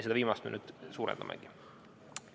Seda viimast me nüüd suurendamegi.